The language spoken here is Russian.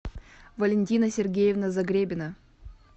валентина сергеевна загребина